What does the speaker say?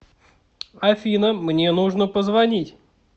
афина мне нужно позвонить